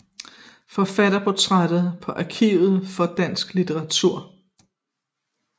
Forfatterportræt på Arkiv for dansk litteratur